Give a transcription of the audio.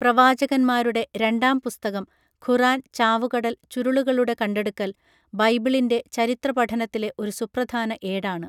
പ്രവാചകന്മാരുടെ രണ്ടാം പുസ്തകം ഖുറാൻ ചാവുകടൽ ചുരുളുകളുടെ കണ്ടെടുക്കൽ ബൈബിളിന്റെ ചരിത്രപഠനത്തിലെ ഒരു സുപ്രധാന ഏടാണ്